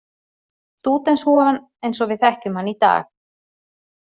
Stúdentshúfan eins og við þekkjum hana í dag.